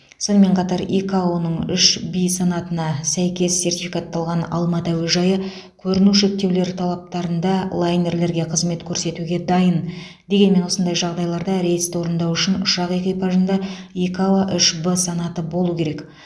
сонымен қатар икао ның үш в санатына сәйкес сертификатталған алматы әуежайы көріну шектеулері талаптарында лайнерлерге қызмет көрсетуге дайын дегенмен осындай жағдайларда рейсті орындау үшін ұшақ экипажында икао үш в санаты болу керек